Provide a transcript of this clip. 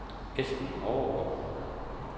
Esben Overgaard